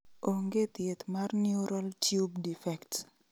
Onge thieth mar neural tube defect